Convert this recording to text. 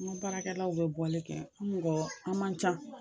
An ka baarakɛlaw bɛ bɔli kɛ, an mɔgɔ ,an man ca.